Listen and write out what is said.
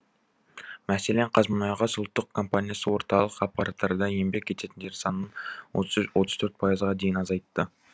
мәселен қазмұнайгаз ұлттық компаниясы орталық аппаратта еңбек ететіндер санын отыз төрт пайызға дейін азайтты